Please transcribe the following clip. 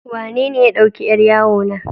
Wanene ya ɗauki yar yawo na?